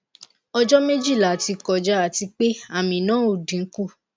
ojo mejila ti koja ati pe ami na o dinku